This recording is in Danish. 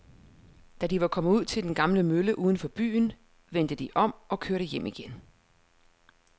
Da de var kommet ud til den gamle mølle uden for byen, vendte de om og kørte hjem igen.